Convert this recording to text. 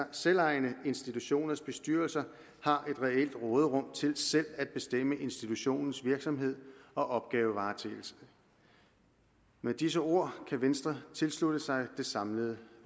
selvejende institutioners bestyrelser har et reelt råderum til selv at bestemme institutionens virksomhed og opgavevaretagelse med disse ord kan venstre tilslutte sig det samlede